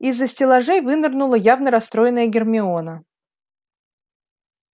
из-за стеллажей вынырнула явно расстроенная гермиона